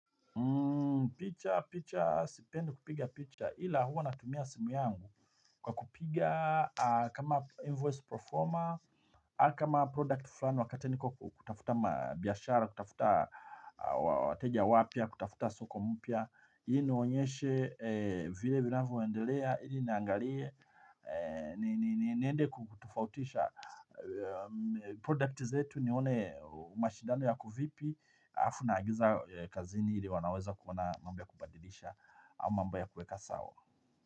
Picha picha sipenda kupiga picha ila huwa natumia simu yangu kwa kupiga kama invoice performer ama kama product fulani wakati niko kutafuta mabiashara kutafuta wateja wapya kutafuta soko mpya hii niwaonyeshe vile vinavyo endelea ili niangalie niende kutofautisha Product zetu nione mashidano yako vipi. Alafu naagiza kazini ili wanaweza kuona mambo ya kubadilisha au mambo kuweka sawa.